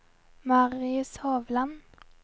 Marius Hovland